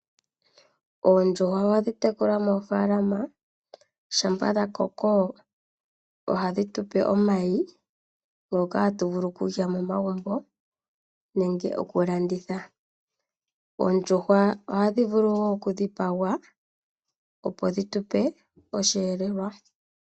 oodjuhwa ohadhi tekulwa moofaalama shampa dhakoko oha dhi tupe omayi, ngoka hatu vulu okulya momagumbo nenge oku landitha. Oondjuhwa ohadhi vulu woo oku dhipagwa opo dhitupe osheelelwa.